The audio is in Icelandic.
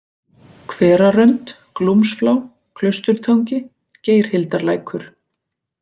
Hverarönd, Glúmsflá, Klausturtangi, Geirhildarlækur